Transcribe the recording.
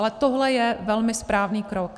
Ale tohle je velmi správný krok.